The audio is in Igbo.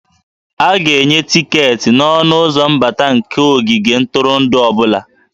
A ga-enye tiketi n'ọnụ ụzọ mbata nke ogige ntụrụndụ ọ bụla